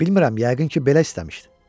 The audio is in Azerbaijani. Bilmirəm, yəqin ki, belə istəmişdi.